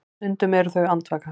Stundum eru þau andvaka.